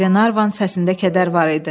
Glenarvan səsində kədər var idi.